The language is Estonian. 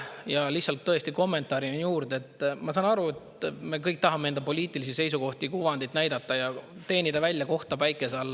Ja lihtsalt kommentaarina juurde, et ma saan aru, et me kõik tahame enda poliitilisi seisukohti, kuvandit näidata ja teenida välja kohta päikese all.